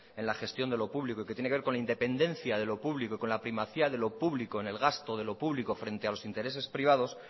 en la gestión de lo público y que tiene que ver con la independencia de lo público y con la primacía de lo público en el gasto de lo público frente a los intereses privados